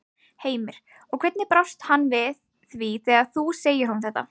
Heimir: Og hvernig brást hann við því þegar þú segir honum þetta?